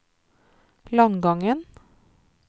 Langangen